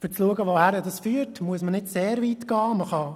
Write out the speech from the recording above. Um zu sehen, wohin dies führt, muss man nicht sehr weit gehen: